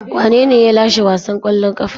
Wanene ya lashe wasan kwallon kafa?